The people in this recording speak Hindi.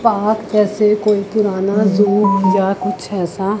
पाक जैसे कोई पुराना जू या कुछ ऐसा--